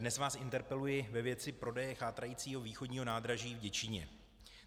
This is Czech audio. Dnes vás interpeluji ve věci prodeje chátrajícího východního nádraží v Děčíně.